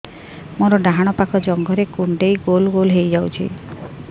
ମୋର ଡାହାଣ ପାଖ ଜଙ୍ଘରେ କୁଣ୍ଡେଇ ଗୋଲ ଗୋଲ ହେଇଯାଉଛି